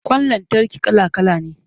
Ƙwan lantarki kala-kala ne.